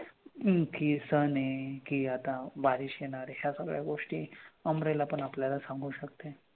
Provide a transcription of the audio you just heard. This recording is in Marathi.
की हे sun आहे कि आता बारिश येणार आहे या सगळ्या गोष्टी umbrella पण आपल्याला सांगू सकते.